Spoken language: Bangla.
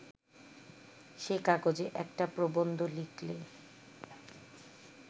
সে কাগজে একটা প্রবন্ধ লিখলে